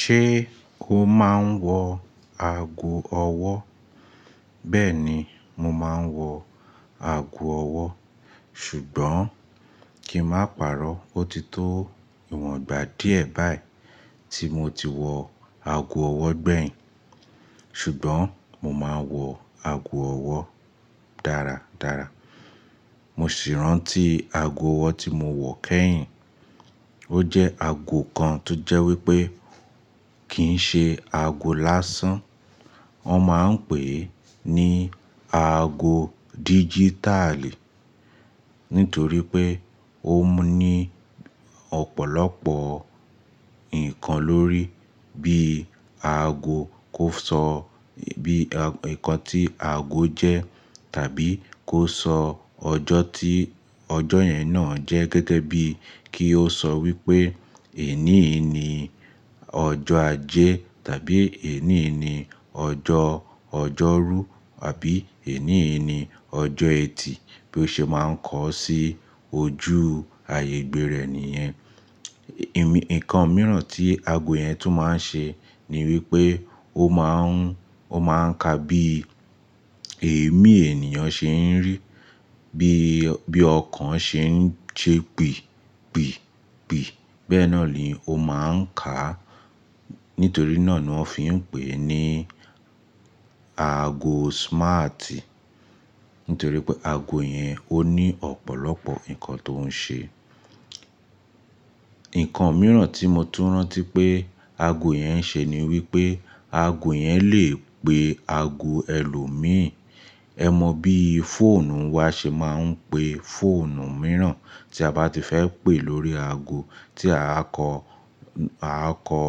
Ṣé o máa ń wọ ago ọwọ́? Bẹ́ẹ̀ ni, mo máa ń wọ ago ọwọ́, ṣùgbọ́n kí n má parọ́, ó ti tó ìwọn ìgbà díẹ̀ báyìí tí mo ti wọ ago ọwọ́ gbẹ̀yìn. Ṣùgbọ́n mo máa ń wọ ago ọwọ́ dára dára. Mo sì rántí ago ọwọ́ tí mo wọ̀ kẹ́yìn. Ó jẹ́ ago kan tó jẹ́ wípé kì ń ṣe ago lásán. Wọ́n máa ń pè é ní ago dígítàìlì nítorí pé ó ní ọ̀pọ̀lọpọ̀ nǹkan lórí bí ago kó sọ bí, nǹkan tí ago jẹ́ tàbí kó sọ ọjọ́ tí ọjọ́ yẹn náà jẹ́ gẹ́gẹ́ bí kí ó sọ wípé èníyí ni ọjọ́ ajé tàbí èníyí ni ọjọ́ ọjọ́rú àbí èníyí ni ọjọ́ ẹtì bí ó ṣe máa ń kọ sí ojú ààyè gbere ẹni yan. Ìmí-nǹkan mìíràn tí ago yẹn tún máa ń ṣe ni wípé ó máa ń, ó máa ń ka bí èémí ènìyàn ṣe ń rí, bí, bí ọkàn ṣe ń ṣe pì, pì, pì. Bẹ́ẹ́ náà ni ó máa ń kà. Nítorí náà ni wọ́n fi ń pè é ní ago ologbon. Nítorí pé ago yẹn ó ní ọ̀pọ̀lọpọ̀ nǹkan tó ń ṣe. Nǹkan mìíràn tí mo tún rántí pé ago yẹn ṣe ni wípé ago yẹn le pe ago ẹlòmíràn. Ẹ̀ mọ bí fóònù wa ṣe máa ń pe fóònù mìíràn tí a bá ti fẹ́ pé lórí ago tí a kọ, a kọ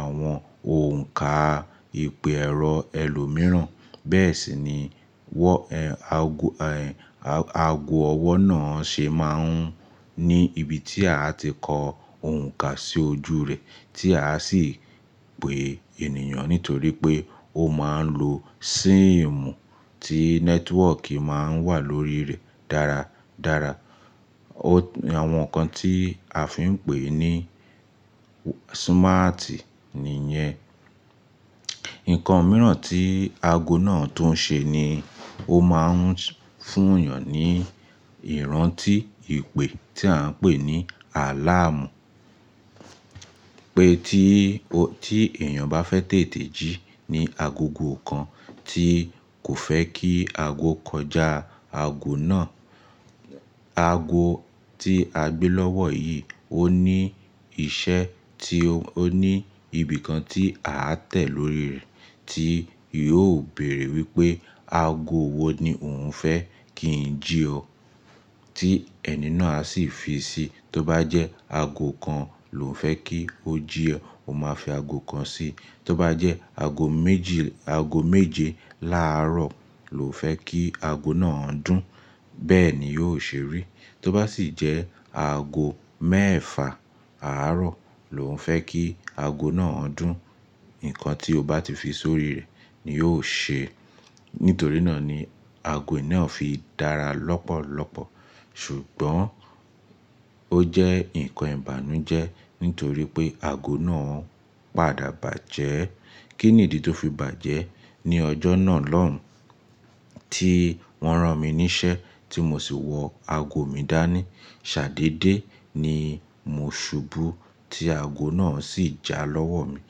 àwọn òǹkà ìpè ẹ̀rọ ẹlòmíràn. Bẹ́ẹ̀ sì ni wọ, ẹ, ago, ẹ, a-ago ọwọ́ náà ṣe máa ń ní ibi tí a ti kọ òǹkà sí ojú rẹ̀ tí a sì pè ènìyàn nítorí pé ó máa ń lo síìmù tí nẹ́tíwọ́kì máa ń wà lórí rẹ̀ dára dára. O, àwọn nǹkan tí a fi ń pè ní smarti nìyẹn. Nǹkan mìíràn tí ago náà tún ṣe ni ó máa ń fún èèyàn ní ìrántí ìpè tí à ń pè ní àláàmù. Pé tí o, tí èèyàn bá fẹ́ tètè jí ní agogo kan tí kò fẹ́ kí ago kọjá ago náà, ago tí a gbé lọ́wọ́ yìí ó ní iṣẹ́ tí o, ó ní ibi kan tí a tẹ̀ lórí rẹ̀ tí yóò bèèrè wípé ago wo ni òun fẹ́ kí i jí ọ, tí ẹni náà sì fi sí i. Tó bá jẹ́ ago kan lòun fẹ́ kí ó jí ọ, ó máa fi ago kan sí i. Tó bá jẹ́ ago méjì, ago méje láàárọ̀ lò un fẹ́ kí ago náà dún, bẹ́ẹ̀ ni yóò ṣe rí. Tó bá sì jẹ́ ago mẹ́ẹ̀fa àárọ̀ lò un fẹ́ kí ago náà dún, nǹkan tí ó bá ti fi sórí rẹ̀ ni yóò ṣe. Nítorí náà ni ago ìná fi dára lọ́pọ̀lọ́pọ̀. Ṣùgbọ́n ó jẹ́ nǹkan ìbànújẹ́ nítorí pé ago náà padà bàjẹ́. Kí nìdí tó fi bàjẹ́? Ni ọjọ́ náà lóhùn tí wọ́n rán mi níṣẹ́ tí mo sì wọ ago mi dání, ṣàdédé ni mo ṣubú tí ago náà sì já lọ́wọ́ mi.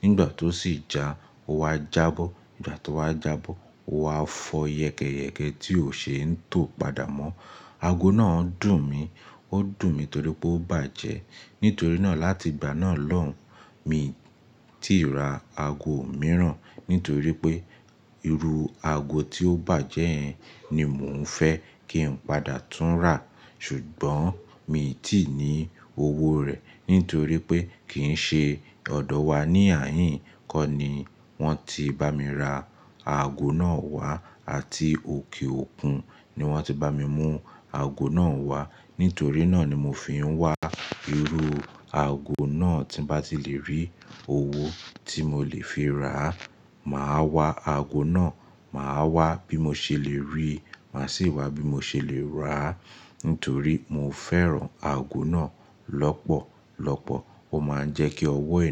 Nígbà tó sì já ó wá jábọ́. Ìgbà tó wá jábọ́ ó wá fọ yẹkẹyẹkẹ tí ó ṣe ń tò padà mọ́. Ago náà dùn mí. Ó dùn mí torí pé ó bàjẹ́. Nítorí náà láti ìgbà náà lóhùn mi tí ra ago mìíràn nítorí pé irú ago tí ó bàjẹ́ yẹn ni mò ń fẹ́ kí n padà tún rà. Ṣùgbọ́n mi ò tí ì ní owó rẹ̀ nítorí pé kì ń ṣe ọ̀dọ̀ wa ní ààyìn kọ́ ni wọ́n ti bá mi ra ago náà wá àti òkè òkun ni wọ́n ti bá mi mú ago náà wá. Nítorí náà ni mo fi ń wá irú ago náà tí bá ti lè rí owó tí mo lè fi ra, màá wá ago náà. Màá wá bí mo ṣe lè ri, màá sì wá bí mo ṣe lè rà á nítorí mo fẹ́ràn ago náà lọ́pọ̀lọ́pọ̀. Ó máa ń jẹ́ kí ọwọ́ ẹni.